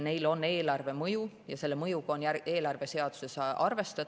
Neil on eelarvele mõju ja selle mõjuga on eelarve seaduses arvestatud.